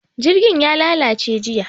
Jirgin ya lalace jiya.